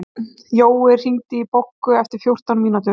Jói, hringdu í Boggu eftir fjórtán mínútur.